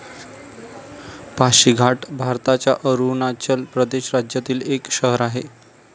पाशी घाट भारताच्या अरुणाचल प्रदेश राज्यातील एक शहर आहे